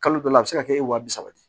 Kalo dɔ la a be se ka kɛ wa bi saba ye